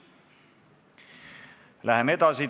Läheme edasi.